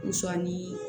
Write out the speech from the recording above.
Sɔɔni